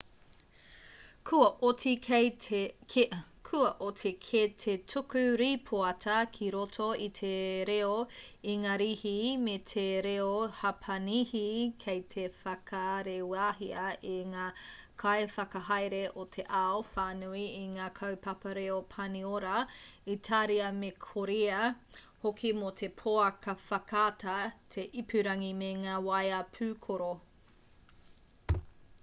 kua oti kē te tuku rīpoata ki roto i te reo ingarihi me te reo hapanihi kei te whakarewahia e ngā kaiwhakahaere o te ao whānui i ngā kaupapa reo pāniora itāria me korea hoki mō te pouaka whakaata te ipurangi me ngā waea pūkoro